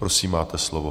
Prosím, máte slovo.